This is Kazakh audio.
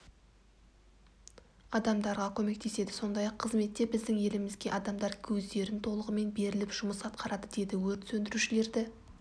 адамдарға көмектеседі сондай-ақ қызметте біздің елімізге адамдар өздерін толығымен беріліп жұмыс атқарады деді өрт сөндірушілерді